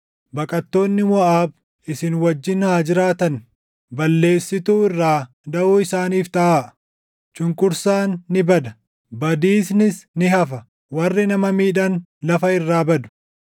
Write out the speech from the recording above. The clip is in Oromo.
Baqattoonni Moʼaab isin wajjin haa jiraatan; balleessituu irraa daʼoo isaaniif taʼaa.” Cunqursaan ni bada; badiisnis ni hafa; warri nama miidhan lafa irraa badu.